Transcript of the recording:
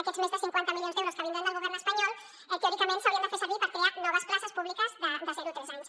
aquests més de cinquanta milions d’euros que vindran del govern espanyol teòricament s’haurien de fer servir per crear noves places públiques de zero a tres anys